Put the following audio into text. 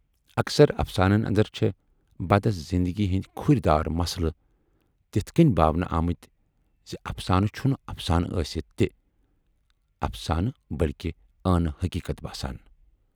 اکثر افسانَن اندر چھے بدس زِندگی ہٕندۍ کھُرۍ دار مسلہٕ تِتھٕ کٔنۍ باونہٕ آمٕتۍ زِ افسانہٕ چھُنہٕ افسانہٕ ٲسِتھ تہِ افسانہٕ بٔلۍکہِ ٲنہٕ حقیٖقت باسان۔